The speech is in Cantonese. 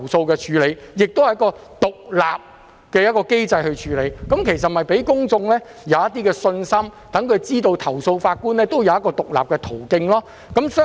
這同樣是一個獨立機制，令公眾有信心，讓他們知道投訴法官有一個獨立途徑。